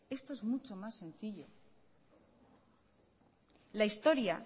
esto es mucho más sencillo la historia